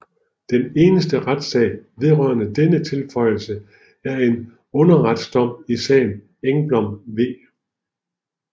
Den eneste retssag vedrørende denne tilføjelse er en underretsdom i sagen Engblom v